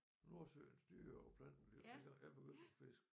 Nordsøens dyr og planter dengang jeg jeg begyndte at fiske